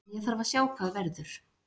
En ég þarf að sjá hvað verður.